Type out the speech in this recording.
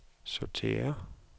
sortér